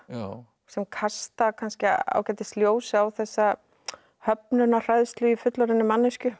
sem kasta kannski ágætis ljósi á þessa höfnunarhræðslu í fullorðinni manneskju